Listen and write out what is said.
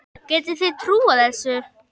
Getið þið trúað þessu?